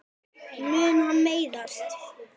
Mun hann meiðast?